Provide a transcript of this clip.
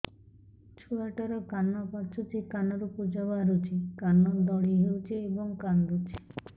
ଛୁଆ ଟା ର କାନ ପାଚୁଛି କାନରୁ ପୂଜ ବାହାରୁଛି କାନ ଦଳି ହେଉଛି ଏବଂ କାନ୍ଦୁଚି